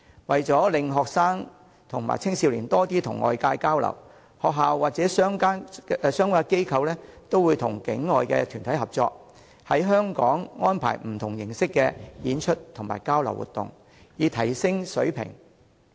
為令學生及青少年多與外界交流及提升水平，學校或相關機構都會與境外團體合作，在香港安排不同形式的演出及交流活動。